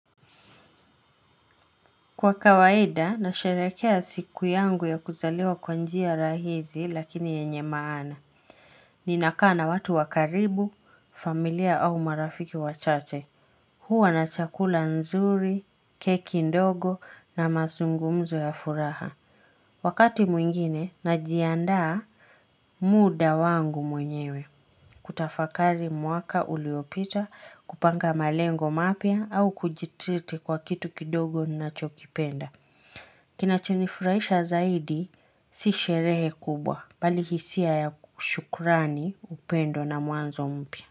Kwa kawaida, nasherehekea siku yangu ya kuzaliwa kwa njia rahisi lakini yenye maana. Ninakaa na watu wa karibu, familia au marafiki wachache. Huwa na chakula nzuri, keki ndogo na mazungumzo ya furaha. Wakati mwingine, najiandaa muda wangu mwenyewe. Kutafakari mwaka uliopita, kupanga malengo mapya au kujitriti kwa kitu kidogo ninachokipenda. Kinachonifurahisha zaidi si sherehe kubwa bali hisia ya shukrani, upendo na mwanzo mpya.